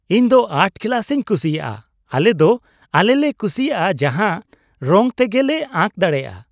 ᱤᱧ ᱫᱚ ᱟᱨᱴ ᱠᱞᱟᱥᱤᱧ ᱠᱩᱥᱤᱭᱟᱜᱼᱟ ᱾ ᱟᱞᱮ ᱫᱚ ᱟᱞᱮᱞᱮ ᱠᱩᱥᱤᱭᱟᱜ ᱡᱟᱦᱟᱱ ᱨᱚᱝ ᱛᱮᱜᱮ ᱞᱮ ᱟᱸᱠ ᱫᱟᱲᱮᱭᱟᱜᱼᱟ ᱾